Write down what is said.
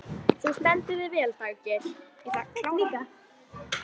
Þú stendur þig vel, Daggeir!